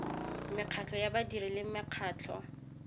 mekgatlo ya badiri le makgotla